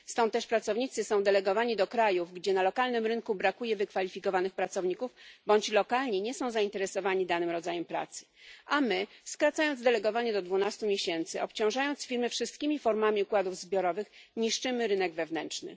Stąd też pracownicy są delegowani do krajów, gdzie na lokalnym rynku brakuje wykwalifikowanych pracowników, bądź lokalni nie są zainteresowani danym rodzajem pracy, a my skracając delegowanie do 12 miesięcy, obciążając firmy wszystkimi formami układów zbiorowych niszczymy rynek wewnętrzny.